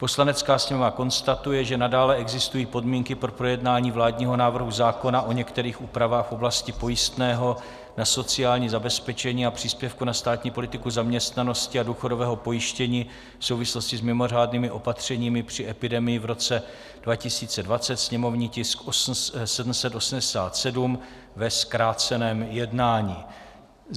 "Poslanecká sněmovna konstatuje, že nadále existují podmínky pro projednání vládního návrhu zákona o některých úpravách v oblasti pojistného na sociální zabezpečení a příspěvku na státní politiku zaměstnanosti a důchodového pojištění v souvislosti s mimořádnými opatřeními při epidemii v roce 2020, sněmovní tisk 787 ve zkráceném jednání."